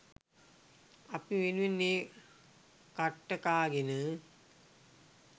අපි වෙනුවෙන් ඒ කට්ට කාගෙන